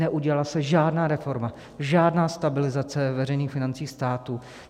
Neudělala se žádná reforma, žádná stabilizace veřejných financí státu.